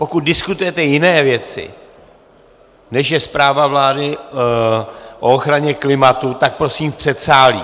Pokud diskutujete jiné věci, než je zpráva vlády o ochraně klimatu, tak prosím v předsálí!